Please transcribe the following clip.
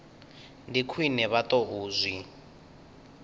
ndi khwine vha tou zwi